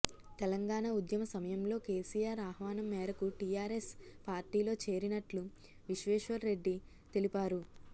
తెలంగాణ ఉద్యమ సమయంలో కేసీఆర్ ఆహ్వానం మేరకు టీఆర్ఎస్ పార్టీలో చేరినట్లు విశ్వేశ్వర్ రెడ్డి తెలిపారు